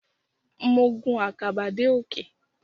Mo gun àkàbà dé òkè.